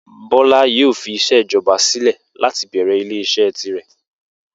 Bó̩lá yóò fi is̩é̩ ìjo̩ba sílè̩ láti bè̩rè̩ ilé is̩é̩ tirè̩